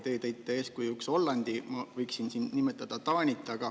Teie tõite eeskujuks Hollandi, mina võiksin nimetada Taanit.